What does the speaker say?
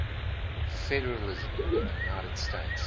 federalism in the united states